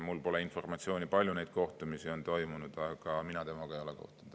Mul pole informatsiooni, palju neid kohtumisi on toimunud, aga mina temaga ei ole kohtunud.